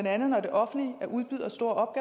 andet når det offentlige er udbyder af store